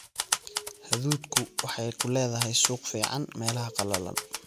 Hadhuudhku waxay ku leedahay suuq fiican meelaha qallalan.